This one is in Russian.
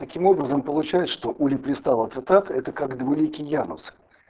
таким образом получают что улипристала цетат это как двуликий янус